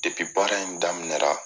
Depi baara in daminɛra